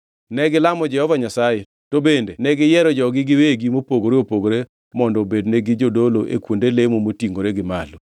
Negilamo Jehova Nyasaye, to bende negiyiero jogi giwegi mopogore opogore mondo obednegi jodolo e kuonde lemo motingʼore gi malo.